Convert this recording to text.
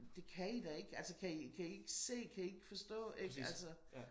Det kan i da ikke altså kan i ikke se kan i ikke forstå altså